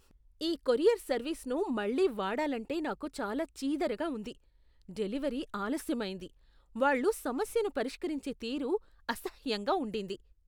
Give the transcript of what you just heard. ఈ కొరియర్ సర్వీస్ను మళ్లీ వాడాలంటే నాకు చాలా చీదరగా ఉంది. డెలివరీ ఆలస్యమైంది, వాళ్ళు సమస్యను పరిష్కరించే తీరు అసహ్యంగా ఉండింది.